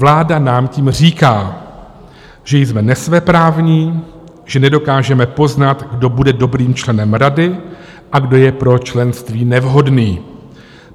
Vláda nám tím říká, že jsme nesvéprávní, že nedokážeme poznat, kdo bude dobrým členem rady a kdo je pro členství nevhodný.